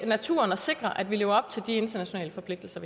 naturen og sikre at vi lever op til de internationale forpligtelser